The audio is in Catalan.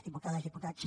diputades diputats